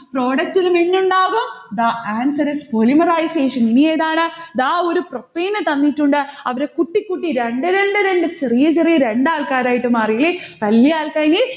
product ലും n ഉണ്ടാകും. the answer is polymerization ഇനിയെന്താണ്? ദാ ഒരു propane എ തന്നിട്ടുണ്ട്. അവരെ കുട്ടികുട്ടി രണ്ട് രണ്ട് രണ്ട് ചെറിയ ചെറിയ രണ്ടാൾക്കാരായിട്ട് മാറിയില്ലേ. വല്യ alkyne നെ